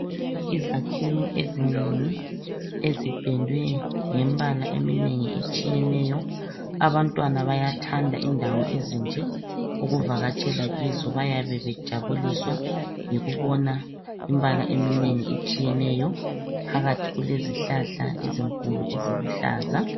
Izakhiwo ezinengi ezipendwe ngembala eminengi etshiyeneyo abantwana bayathanda indawo ezinje ukuvakatshela kizo bayabe bejabuliswa yikubona imbala eminengi etshiyeneyo ,phakathi kulezihlahla ezinkulu eziluhlaza.